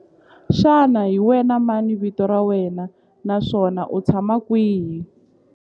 Xana hi wena mani vito ra wena naswona u tshama kwihi?